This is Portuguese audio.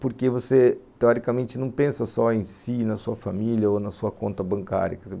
Porque você, teoricamente, não pensa só em si, na sua família ou na sua conta bancária.